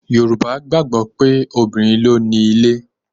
Yorùbá gbàgbọ́ pé obìnrin ló nílé.